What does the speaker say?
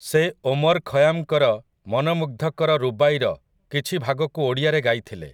ସେ ଓମର୍ ଖୟାମ୍‌ଙ୍କର ମନମୁଗ୍ଧକର ରୁବାଈର କିଛି ଭାଗକୁ ଓଡ଼ିଆରେ ଗାଇଥିଲେ ।